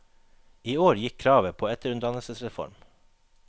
I år gikk kravet på etterutdannelsesreform.